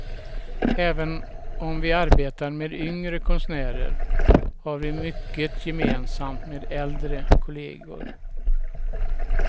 Även om vi arbetar med yngre konstnärer har vi mycket gemensamt med äldre kollegor.